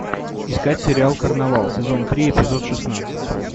искать сериал карнавал сезон три эпизод шестнадцать